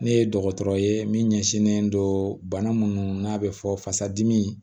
Ne ye dɔgɔtɔrɔ ye min ɲɛsinnen don bana minnu n'a bɛ fɔ fasa dimi